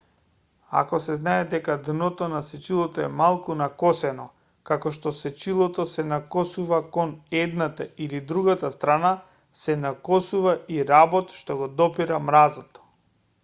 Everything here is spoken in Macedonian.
ако се знае дека дното на сечилото е малку накосено како што сечилото се накосува кон едната или другата страна се накосува и работ што го допира мразот